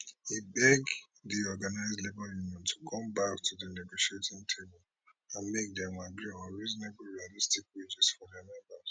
e beg di organised labour union to come back to di negotiating table and make dem agree on reasonable and realistic wages for dia members